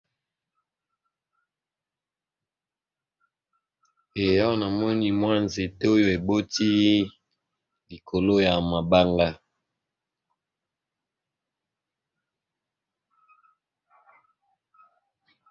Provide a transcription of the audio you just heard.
Awa namoni nzete oyo eboti likolo ya mabanga.